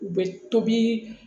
U bɛ tobi